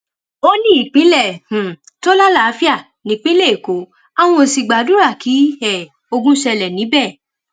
ó ní ìpínlẹ um tó lálàáfíà nípínlẹ èkó àwọn ó sì gbàdúrà kí um ogun ṣẹlẹ níbẹ